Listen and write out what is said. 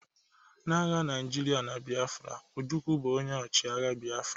Na agha Naijiria na Biafra, Ojukwu bụ onye ọchịagha Biafra